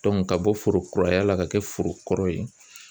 ka bɔ foro kuraya la ka kɛ foro kɔrɔ yen